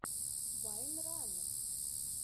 вайнран